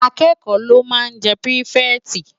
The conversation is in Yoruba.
Ákëkò ló má n jè pirifèti